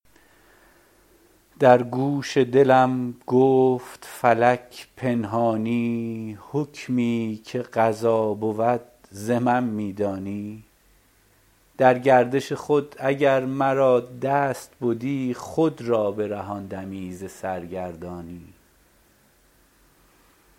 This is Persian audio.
در گوش دلم گفت فلک پنهانی حکمی که قضا بود ز من می دانی در گردش خود اگر مرا دست بدی خود را برهاندمی ز سرگردانی